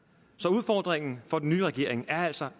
udfordringen for den nye regering er altså